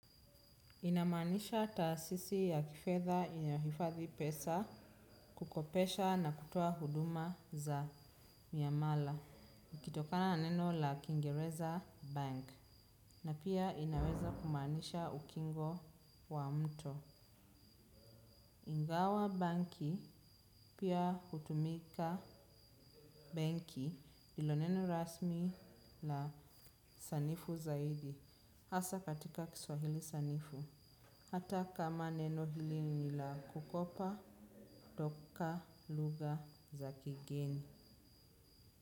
Inamaanisha taasisi ya kifedha inayohifadhi pesa, kukopesha na kutoa huduma za miamala. Kutokana na neno la kingereza bank. Na pia inaweza kumaanisha ukingo wa mto. Ingawa banki pia hutumika banki ilo neno rasmi na sanifu zaidi. Hasa katika kiswahili sanifu. Hata kama neno hili ni la kukopa toka lugha za kigeni.